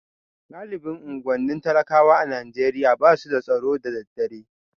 Galibin unguwannin talakawa a Najeriya ba su da tsaro da daddare